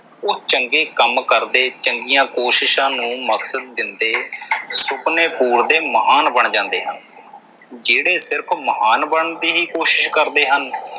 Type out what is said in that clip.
ਉਹ ਚੰਗੇ ਕੰਮ ਕਰਦੇ, ਚੰਗੀਆਂ ਕੋਸ਼ਿਸ਼ਾਂ ਨੂੰ ਮਕਸਦ ਦਿੰਦੇ, ਸੁਪਨੇ ਪੂਰਦੇ ਮਹਾਨ ਬਣ ਜਾਂਦੇ ਹਨ। ਜਿਹੜੇ ਸਿਰਫ਼ ਮਹਾਨ ਬਣਨ ਦੀ ਹੀ ਕੋਸ਼ਿਸ ਕਰਦੇ ਹਨ।